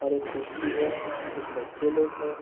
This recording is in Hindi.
और एक कुर्सी है कुछ बच्चे लोग है।